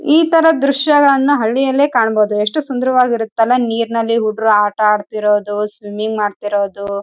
ಆಟ ಆಡಿದ್ದೇನೆ ಸ್ನಾನ ಮಾಡಿದೀನಿ ಹಲವಾರುಕಡೆ ಹೋದಲ್ಲಿ ನಾವು ಹೆಚ್ಚಾಗಿ ಕೆರೆಗಳನ್ನು ನೋಡಿಡಿವಿ ನದಿಗಳನ್ನು ನೋಡಿದ್ದೇವೆ.